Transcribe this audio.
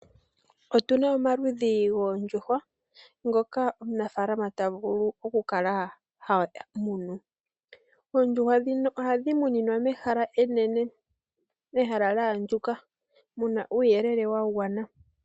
Otu na omaludhi goondjuhwa ngoka omunafaalama ta vulu okutekula. Ohadhi tekulilwa mehala enene na olya andjuka mu na uuyelele wa gwana.